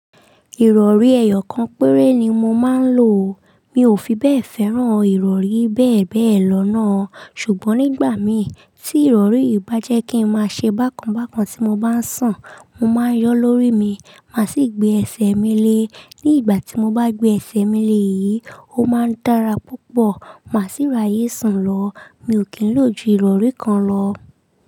Ìrọ̀rí ẹyọ kan péré ni mo máa ń lò. Mi ò fi bẹ́ẹ̀ fẹ́ràn ìrọ̀rí bẹ́ẹ̀ bẹ́ẹ̀ lọ náà. Ṣùgbọ́n nígbà mi tí ìrọ̀rí yì bá jẹ́ kí n máa ṣe bákan bákan tí mo bá ń sùn, mo máa ń yọ lórí mi, màá sì gbé ẹsẹ̀ mi lé. Ní ìgbà tí mo bá gbé ẹsẹ̀ mi lé yìí, ó máa ń dára púpọ̀, màá sì ráyè sùn lọ. Mi ò kí ń lò ju ìrọ̀rí kan lọ.